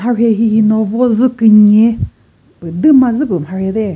marhe hihi no vo dzü künye püh dü ma zü püh marhe teh.